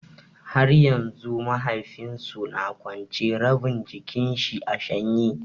Har yanzu mahaifin su na kwance, rabin jikin shi a shanye.